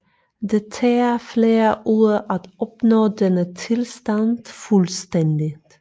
Det tager flere uger at opnå denne tilstand fuldstændigt